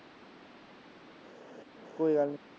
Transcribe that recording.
ਕੋਈ ਗੱਲ ਨੀ।